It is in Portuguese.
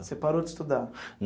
Você parou de estudar?